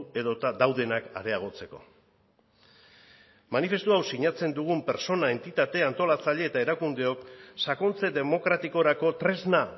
edota daudenak areagotzeko manifestu hau sinatzen dugun pertsona entitate antolatzaile eta erakundeok sakontze demokratikorako tresna